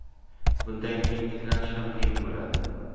Bundan keyin tiklanish ham qiyin bo‘ladi.